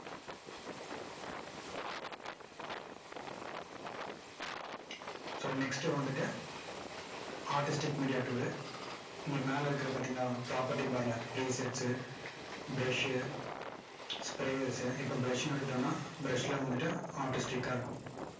so next வந்துட்டு artistic media tool இங்க மேல இருக்குறத பாத்தீங்களா? property bar ல presets உ brush உ sprayers உ இப்போ brush னு எடுத்துக்கிட்டோம்னா brush ல வந்துட்டு artistic கா இருக்கும்.